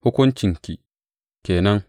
Hukuncinki ke nan.